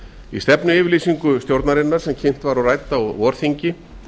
í stefnuyfirlýsingu stjóranrinanr sem kynnt var og rædd á vorþingi